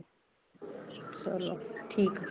ਚਲੋ ਠੀਕ ਏ